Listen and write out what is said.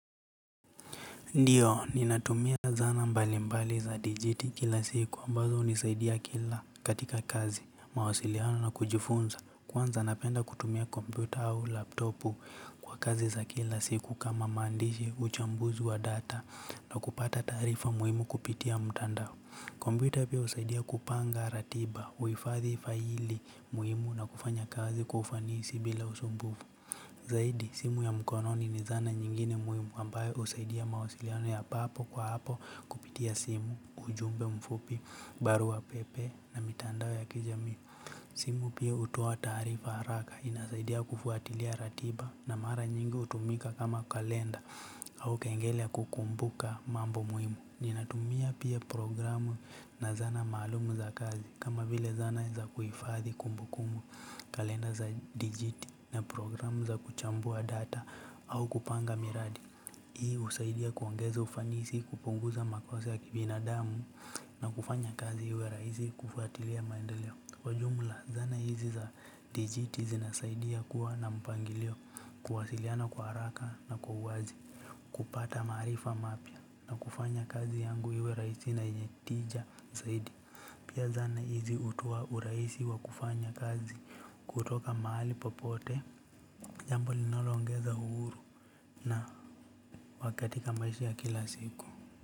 Ndiyo, ninatumia zana mbali mbali za digit kila siku ambazo hunisaidia kila katika kazi, mawasiliano na kujifunza. Kwanza napenda kutumia kompyuta au laptopu kwa kazi za kila siku kama maandishi uchambuzi wa data na kupata taarifa muhimu kupitia mtandao. Kompyuta pia husaidia kupanga ratiba, uifadhi faili muhimu na kufanya kazi kwa ufanisi bila usumbufu. Zaidi, simu ya mkononi ni zana nyingine muhimu ambayo husaidia mawasiliano ya papo kwa hapo kupitia simu, ujumbe mfupi, barua pepe na mitandao ya kijamii. Simu pia hutoa taarifa haraka inasaidia kufuatilia ratiba na mara nyingi hutumika kama kalenda au kengele ya kukumbuka mambo muhimu. Ninatumia pia programu na zana maalumu za kazi kama vile zana za kuhifadhi kumbukumbu kalenda za digiti na programu za kuchambua data au kupanga miradi. Hii husaidia kuongeza ufanisi kupunguza makosa ya kibinadamu na kufanya kazi iwe rahisi kufuatilia maendeleo. Kwa jumla zana hizi za digiti zinasaidia kuwa na mpangilio kuwasiliana kwa haraka na kwa uwazi kupata marifa mapya na kufanya kazi yangu iwe rahisi na yenye tija zaidi pia zana hizi hutoa urahisi wa kufanya kazi kutoka mahali popote jambo linaloongeza uhuru na kakatika maisha ya kila siku.